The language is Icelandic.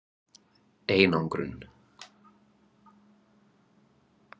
Edda: Einangrun?